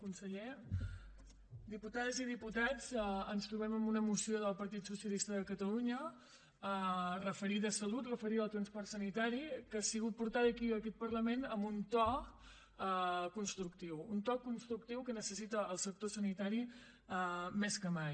conseller diputades i diputats ens trobem amb una moció del partit socialista de catalunya referida a salut referida al transport sanitari que ha sigut portada aquí a aquest parlament amb un to constructiu un to constructiu que necessita el sector sanitari més que mai